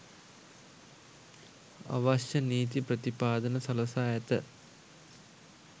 අවශ්‍ය නීති ප්‍රතිපාදන සලසා ඇත